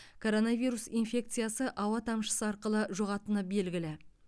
коронавирус инфекциясы ауа тамшысы арқылы жұғатыны белгілі